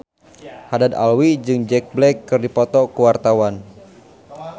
Haddad Alwi jeung Jack Black keur dipoto ku wartawan